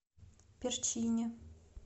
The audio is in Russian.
перчини